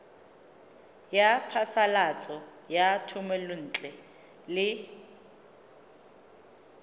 ya phasalatso ya thomelontle le